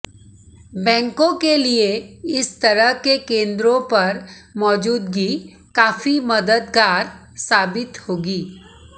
बैंकों के लिए इस तरह के केंद्रों पर मौजूदगी काफी मददगार साबित होगी